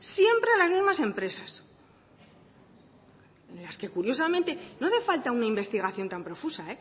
siempre a las mismas empresas en las que curiosamente no hace falta una investigación tan profusa